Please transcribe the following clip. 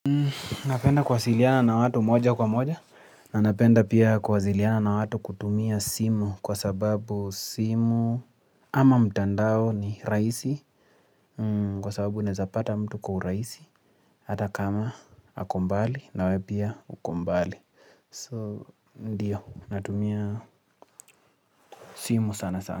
Napenda kuasiliana na watu moja kwa moja na napenda pia kasiliana na watu kutumia simu kwa sababu simu ama mtandao ni rahisi kwa sababu nezapata mtu kwa rahisi hata kama ako mbali nawe pia uko mbali so ndio natumia simu sana sana.